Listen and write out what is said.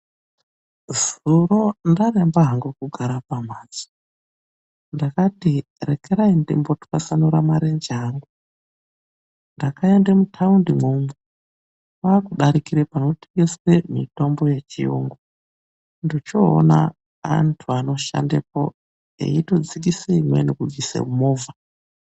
Zuro ndaremba hangu kugara pambatso ndakati rekerai ndimbotwasanura marenje angu ndakaenda mutaundi kwakudarikira manotengeswa mitombo yechirungu ndochoona andu anoshandaepo eitodzikisa imweni kubvisa mumovha.